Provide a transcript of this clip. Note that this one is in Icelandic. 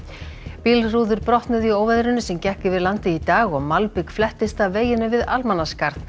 bílrúður brotnuðu í óveðrinu sem gekk yfir landið í dag og malbik af veginum við Almannaskarð